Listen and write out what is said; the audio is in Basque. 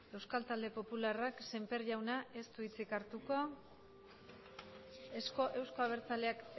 euskal talde popularrak semper jaunak ez du hitzik hartuko euzko abertzaleak